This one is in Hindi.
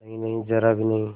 नहींनहीं जरा भी नहीं